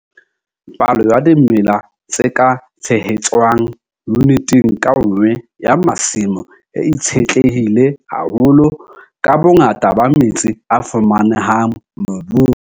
Palo ya dimela tse ka tshehetswang yuniteng ka nngwe ya masimo e itshetlehile haholo ka bongata ba metsi a fumanehang mobung.